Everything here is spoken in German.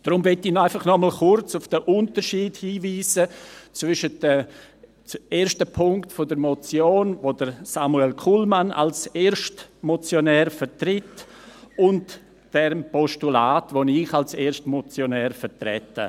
Darum möchte ich einfach noch einmal kurz auf den Unterschied hinweisen zwischen dem ersten Punkt der Motion, die Samuel Kullmann als Erstmotionär vertritt , und diesem Postulat, das ich als Erstmotionär vertrete .